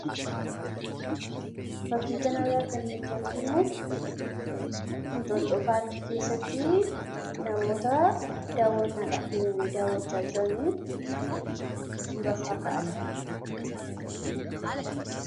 fakkii kana irraa kan nuti arginu hinxoxoo paarkii keessatti namoota daawwannaadhaaf deemanii daawwachaa jiranii suura faa ka'aa jiran.